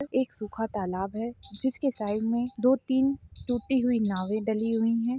एक सूखा तालाब है जिसके साइड में दो तीन टूटी हुई नावे डली हुई है।